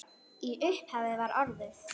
Í upphafi var orðið